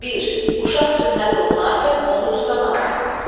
Bir, uşaq sünnət olunarkən onu tutan adam.